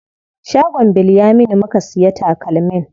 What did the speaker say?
Shagon Bilyaminu muka siya takalmin.